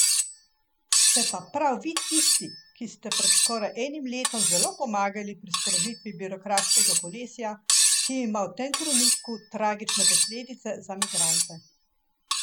Ste pa prav vi tisti, ki ste pred skoraj enim letom zelo pomagali pri sprožitvi birokratskega kolesja, ki ima v tem trenutku tragične posledice za migrante.